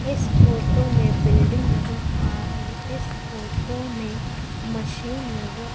इस फोटो में बिल्डिंग नजर आ रही है इस फोटो में मशीन नजर--